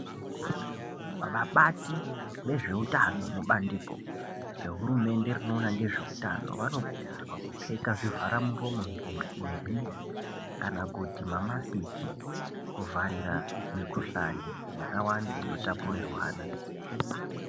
Vabati vezveutano mubandiko rehurumende rinoona ngezveutano vanokurudzirwa kupfeka zvivharamuromo nemhino kana kuti mamasiki, kuvharira mikhuhlani yakawanda ino tapurirwana.